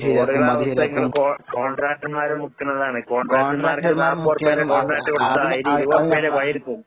റോഡുകൾടെ അവസ്ഥ കോൺ കോൺട്രാക്ടർമാര് മുക്കണതാണ്. കോൺട്രാക്ടർമാർക്ക് നാപ്പത് റുപ്യേടെ കോൺട്രാക്റ്റ് കൊടുത്താ അവര് ഇരുപത് റുപ്യേടെ പണിയെടുക്കും.